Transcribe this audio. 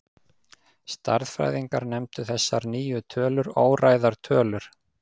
Stærðfræðingar nefndu þessar nýju tölur óræðar tölur.